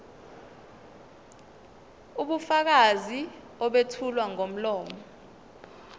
ubufakazi obethulwa ngomlomo